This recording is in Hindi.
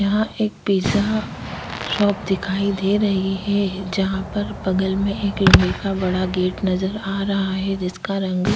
यहाँ एक पिज़्जा शॉप दिखाई दे रही है जहां पर बगल में एक लोहे का बड़ा गेट नजर आ रहा है जिसका रँग --